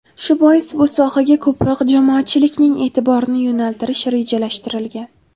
Shu bois bu sohaga ko‘proq jamoatchilikning e’tiborini yo‘naltirish rejalashtirilgan.